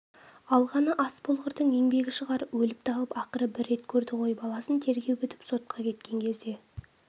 алғаны ас болғырдың еңбегі шығар өліп-талып ақыры бір рет көрді ғой баласын тергеу бітіп сотқа кеткен кезде